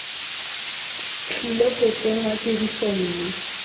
tlile go tsenngwa tirisong mme